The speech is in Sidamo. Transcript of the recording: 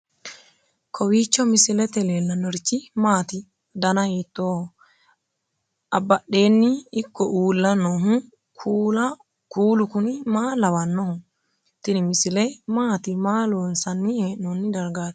kowiicho misilete leellanorichi maati ? dana hiittooho ?abadhhenni ikko uulla noohu kuulu kuni maa lawannoho? tini misile maati maa loonsanni heenoonni dargaatikka